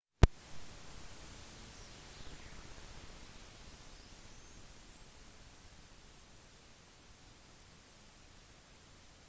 i 1995 ble han stemt frem som den beste spilleren i partizan sin historie